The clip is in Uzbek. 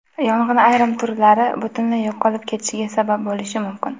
Yong‘in ayrim turlar butunlay yo‘qolib ketishiga sabab bo‘lishi mumkin.